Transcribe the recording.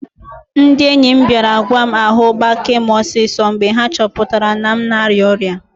Ndị enyi m bịara gwa m ahu gbakee m osiso mgbe ha chọpụtara na m na-arịa ọrịa